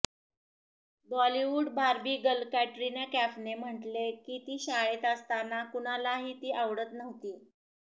Bollywood Barbie girl Katrina कॅफने म्हटले की ती शाळेत असताना कुणालाही ती आवडत नव्हती